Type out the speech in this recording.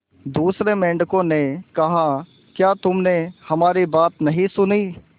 दूसरे मेंढकों ने कहा क्या तुमने हमारी बात नहीं सुनी